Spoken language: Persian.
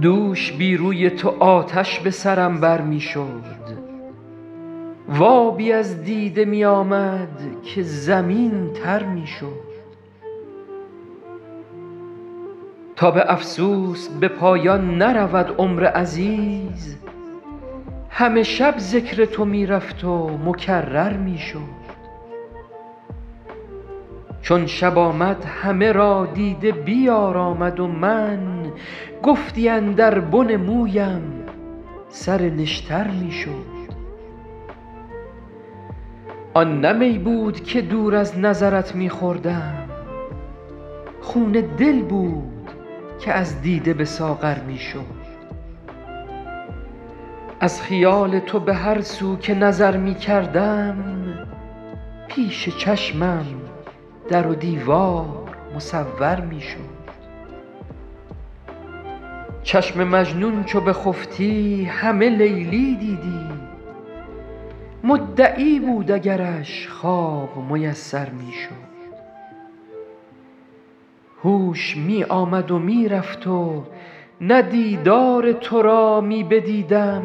دوش بی روی تو آتش به سرم بر می شد و آبی از دیده می آمد که زمین تر می شد تا به افسوس به پایان نرود عمر عزیز همه شب ذکر تو می رفت و مکرر می شد چون شب آمد همه را دیده بیارامد و من گفتی اندر بن مویم سر نشتر می شد آن نه می بود که دور از نظرت می خوردم خون دل بود که از دیده به ساغر می شد از خیال تو به هر سو که نظر می کردم پیش چشمم در و دیوار مصور می شد چشم مجنون چو بخفتی همه لیلی دیدی مدعی بود اگرش خواب میسر می شد هوش می آمد و می رفت و نه دیدار تو را می بدیدم